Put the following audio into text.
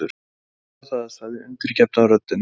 Ég skal gera það, sagði undirgefna röddin.